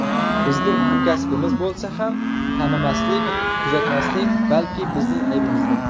Bizning hamkasbimiz bo‘lsa ham tanimaslik, kuzatmaslik balki bizning aybimizdir.